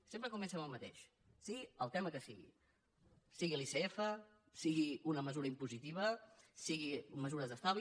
sempre comença amb el mateix sigui el tema que sigui sigui l’icf sigui una mesura impositiva siguin mesures d’estalvi